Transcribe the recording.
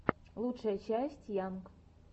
лучшая часть йанг